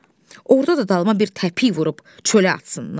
Orda da dalıma bir təpik vurub çölə atsınlar.